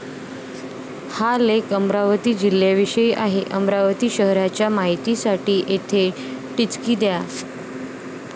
हा लेख अमरावती जिल्ह्याविषयी आहे. अमरावती शहाराच्या माहितीसाठी येथे टिचकी द्या.